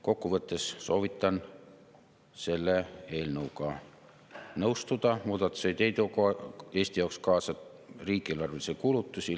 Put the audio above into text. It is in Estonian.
Kokkuvõttes soovitan selle eelnõuga nõustuda, muudatused ei too Eesti jaoks kaasa riigieelarvelisi kulutusi.